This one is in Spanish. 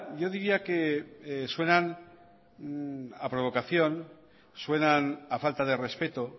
yo diría que suenan a provocación suenan a falta de respeto